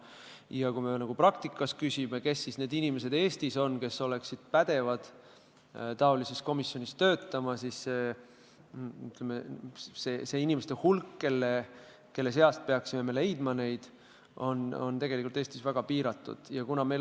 Ja kui me praktikat silmas pidades küsime, kes ikkagi on Eestis inimesed, kes oleksid pädevad taolises komisjonis töötama, siis vastus on, et nende inimeste hulk, kelle seast me peaksime need spetsialistid leidma, on tegelikult väga piiratud.